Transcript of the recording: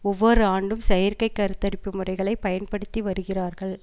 ஒவ்வொரு ஆண்டும் செயற்கை கருத்தரிப்பு முறைகளை பயன்படுத்திவருகிறார்கள்